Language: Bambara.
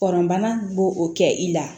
Kɔnɔnana bo o kɛ i la